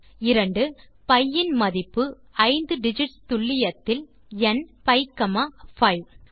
B இன் மதிப்பு 5 digits துல்லியத்தில் nபி5 3